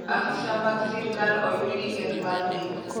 afisa mag sirkal oyud gi keth mar nek